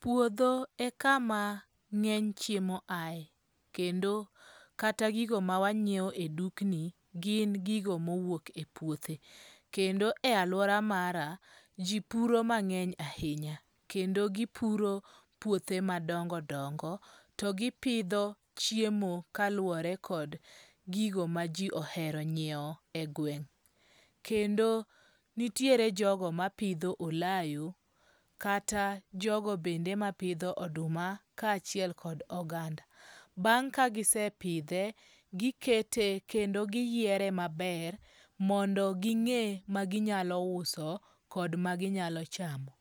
Puodho e kama ng'eny chiemo ae. Kendo kata gigo ma wanyiew e dukni gin gigo mowuok e puothe. Kendo e aluora mara, ji puro mang'eny ahinya. Kendo gipuro puothe madongo dongo. To gipidho chiemo kaluwore kod gigo ma ji ohero nyiew e gweng'. Kendo nitiere jogo mapidho olayo. Kata jogo bende mapidho oduma ka achiel kod oganda. Bang' ka gisepidhe, gikete kendo giyiere maber mondo ging'e ma ginyalo uso kod maginyalo chamo.